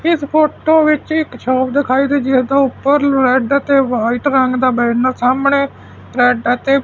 ਇਸ ਫੋਟੋ ਵਿੱਚ ਇੱਕ ਸ਼ੌਪ ਦਿਖਾਈ ਦੇ ਰਹੀ ਹੈ ਤੇ ਉੱਪਰ ਰੈਡ ਤੇ ਵਾਈਟ ਰੰਗ ਦਾ ਬੈਨਰ ਦਾ ਸਾਹਮਣੇ ਰੈਡ ਆ ਤੇ --